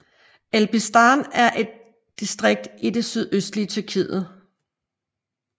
Elbistan er et distrikt i det sydøstlige Tyrkiet